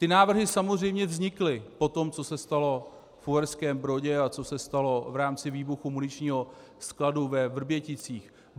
Ty návrhy samozřejmě vznikly po tom, co se stalo v Uherském Brodě a co se stalo v rámci výbuchu muničního skladu ve Vrběticích.